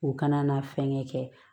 U kana na fɛnkɛ kɛ